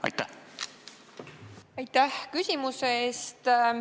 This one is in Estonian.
Aitäh küsimuse eest!